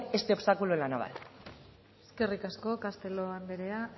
este obstáculo en la naval eskerrik asko castelo anderea